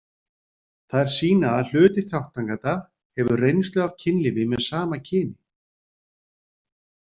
Þær sýna að hluti þátttakenda hefur reynslu af kynlífi með sama kyni.